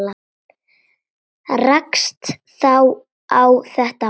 Rakst þá á þetta box.